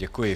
Děkuji.